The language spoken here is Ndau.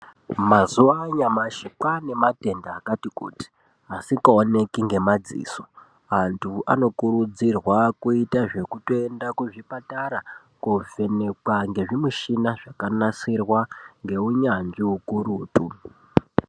Mazuva anyamashi kwanematenda akati kuti asikaoneki ngemadziso. Antu anokurudzirwa kuita zvekutoenda kuzvipatara kovhenekwa ngezvimichina zvakanasirwa ngeunyanzvi hukurutu.